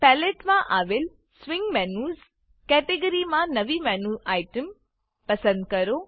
palette palette માં આવેલ swing menus swing menus કેટેગરીમાં નવી મેનું આઇટીઇએમ મેનુ આઇટમ પસંદ કરો